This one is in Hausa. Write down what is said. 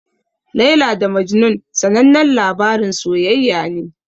Laila da Majnun sanannen labarin soyayya ne.